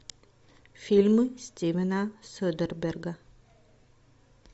фильмы стивена содерберга